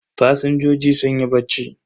Fasinjojin sunyi bacci.